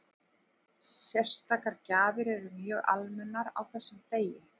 Sérstakar gjafir eru mjög almennar á þessum degi.